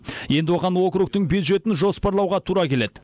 енді оған округтің бюджетін жоспарлауға тура келеді